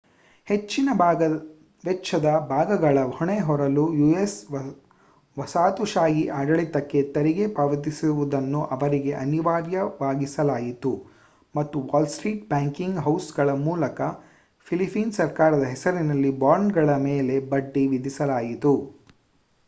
ಹೆಚ್ಚಿನ ವೆಚ್ಚದ ಭಾಗಗಳ ಹೊಣೆ ಹೊರಲು ಯು.ಎಸ್ ವಸಾಹತುಶಾಹಿ ಆಡಳಿತಕ್ಕೆ ತೆರಿಗೆ ಪಾವತಿಸುವುದನ್ನು ಅವರಿಗೆ ಅನಿವಾರ್ಯವಾಗಿಸಲಾಯಿತು ಮತ್ತು ವಾಲ್‌ಸ್ಟ್ರೀಟ್ ಬ್ಯಾಂಕಿಂಗ್ ಹೌಸ್‌ಗಳ ಮೂಲಕ ಫಿಲಿಪೀನ್ ಸರ್ಕಾರದ ಹೆಸರಿನಲ್ಲಿ ಬಾಂಡ್‌ಗಳ ಮೇಲೆ ಬಡ್ಡಿ ವಿಧಿಸಲಾಯಿತು